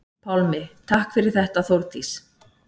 Pálmi: Takk fyrir þetta Þórdís.